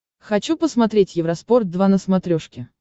хочу посмотреть евроспорт два на смотрешке